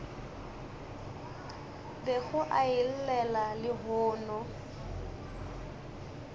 bego a e llela lehono